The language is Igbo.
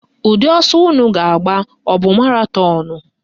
Ụdị ọsọ unu ga-agba abụ maratọnụ?